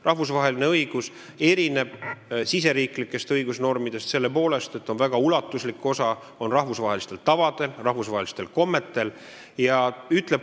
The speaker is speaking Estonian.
Rahvusvaheline õigus erineb riigisisestest õigusnormidest selle poolest, et väga ulatuslik osa on rahvusvahelistel tavadel ja rahvusvahelistel kommetel.